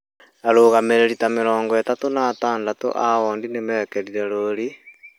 Arũgamĩrĩri ta mĩrongo ĩtatũ na atandatũ a wondi nĩ mekĩrire rũũri ,